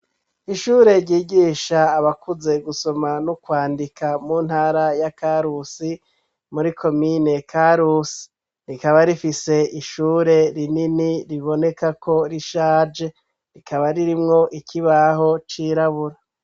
Ishure ryigisha abakuze gusoma no kwandika mu ntara ya karusi muri komine karusi, rikaba rifise ishure rinini ribonekako rishaje rikaba ririmwo ikibaho c'irabura.